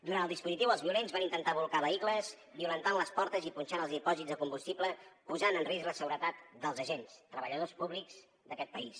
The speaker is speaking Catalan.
durant el dispositiu els violents van intentar bolcar vehicles violentant les portes i punxant els dipòsits de combustible posant en risc la seguretat dels agents treballadors públics d’aquest país